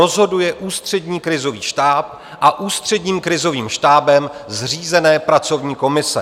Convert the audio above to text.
Rozhoduje Ústřední krizový štáb a Ústředním krizovým štábem zřízené pracovní komise.